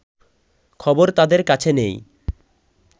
খবর তাদের কাছে নেই